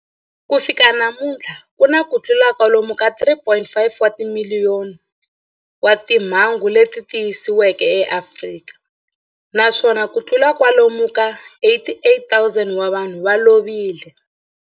Ku fika namuntlha ku na kutlula kwalomu ka 3.5 wa timiliyoni wa timhangu leti tiyisisiweke eAfrika, naswona kutlula kwalomu ka 88,000 wa vanhu va lovile.